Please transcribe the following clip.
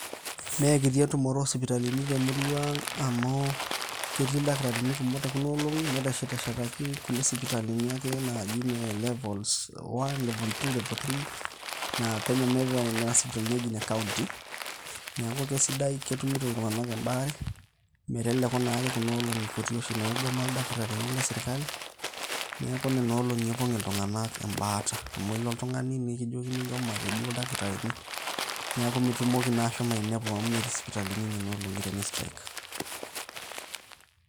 Mekiti entumoto o sipitalini temurua ang' amu ketii ildakitarini kumok tekunoolong'i. Neteshetshetaki kulie sipitalini ake naji ne levels, one level two level three. Na penyo me nena sipitalini eji ne kaunti. Neeku kesidai, ketumito iltung'anak ebaare, meteleku nake kuna olong'i kutik naigoma ildakitarini le sirkali. Neeku nena olong'i epong' iltung'anak ebaata. Amu ilo oltung'ani nikijokini eikomate duo ildakitarini. Neeku mitumoki na ashomo ainepu amu metii isipitalini nenolong'i teni strike.